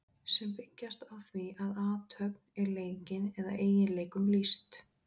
sem byggjast á því að athöfn er leikin eða eiginleikum lýst